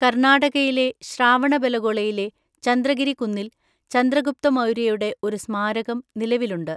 കർണാടകയിലെ ശ്രാവണബെലഗോളയിലെ ചന്ദ്രഗിരി കുന്നിൽ ചന്ദ്രഗുപ്ത മൗര്യയുടെ ഒരു സ്മാരകം നിലവിലുണ്ട്.